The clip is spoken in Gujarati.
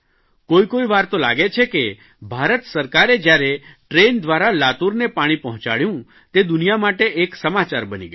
કોઇકોઇ વાર તો લાગે છે કે ભારત સરકારે જયારે ટ્રેન દ્વારા લાતુરને પાણી પહોંચાડ્યું તે દુનિયા માટે એક સમાચાર બની ગયા